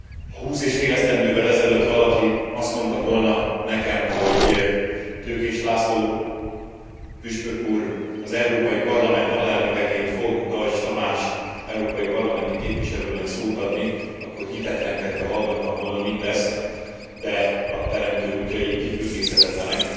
Ha húsz és fél esztendővel ezelőtt valaki azt mondta volna nekem, hogy Tőkés László püspök úr az Európai Parlament alelnökeként fog Deutsch Tamás európai parlamenti képviselőnek szót adni, akkor hitetlenkedve hallgattam volna mindezt, de a sors és a Teremtő útjai kifürkészhetetlenek.